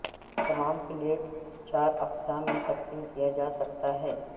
تمام پیلٹس چار اقسام میں تقسیم کیا جا سکتا ہے